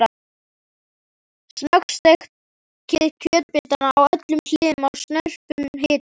Snöggsteikið kjötbitana á öllum hliðum á snörpum hita.